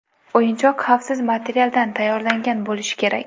O‘yinchoq xavfsiz materialdan tayyorlangan bo‘lishi kerak.